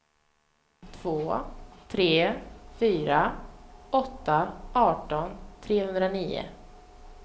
två tre fyra åtta arton trehundranio